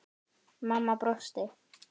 Mamma brosti.